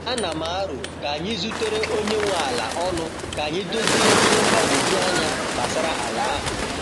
A na m aro ka anyị zutere onye nwe ala ọnụ ka anyị dozie ihe mgbagwoju anya gbasara ala ahụ.